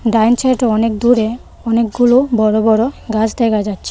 ডাইন সাইডে অনেক দূরে অনেকগুলো বড়ো বড়ো গাছ দেখা যাচ্ছে.